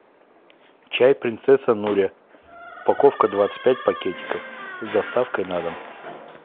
чай принцесса нури упаковка двадцать пять пакетиков с доставкой на дом